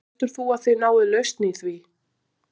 Heldur þú að þið náið lausn í því?